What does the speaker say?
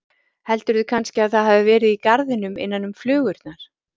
Heldurðu kannski að það hafi verið í garðinum innan um flugurnar?